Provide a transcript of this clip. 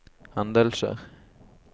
hendelser